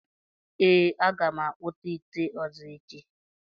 Ee, m ga-akpụta ite ọzọ echi.